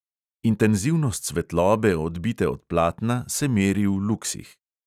Intenzivnost svetlobe odbite od platna se meri v luksih.